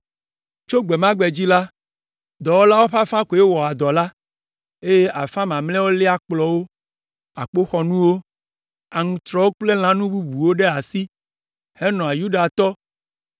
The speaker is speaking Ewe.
Tso gbe ma gbe dzi la, dɔwɔlawo ƒe afã koe wɔa dɔ la, eye afã mamlɛa léa akplɔwo, akpoxɔnuwo, aŋutrɔwo kple lãnu bubuwo ɖe asi henɔa Yudatɔ,